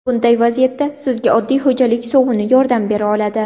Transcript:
Bunday vaziyatda sizga oddiy xo‘jalik sovuni yordam bera oladi.